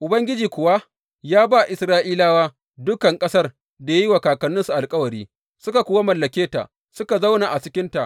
Ubangiji kuwa ya ba Isra’ilawa dukan ƙasar da ya yi wa kakanninsu alkawari, suka kuwa mallake ta, suka zauna a cikinta.